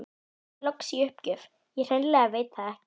Sagði loks í uppgjöf: Ég hreinlega veit það ekki